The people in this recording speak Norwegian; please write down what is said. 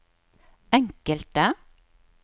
enkelte